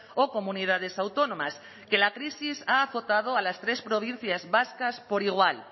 o comunidades autónomas que la crisis ha acotado a las tres provincias vascas por igual